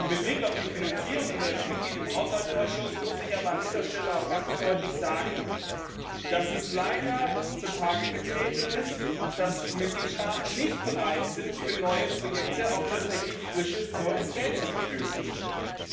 Mit Blick auf die Finanzierung und als Mitglied im Haushaltsausschuss muss ich aber an dieser Stelle auch ganz deutlich sagen, dass leider zutage getreten ist, dass die Mitgliedstaaten nicht bereit sind, für neue Projekte auch tatsächlich frisches, neues Geld zur Verfügung zu stellen.